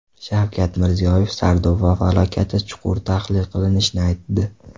Shavkat Mirziyoyev Sardoba falokati chuqur tahlil qilinishini aytdi.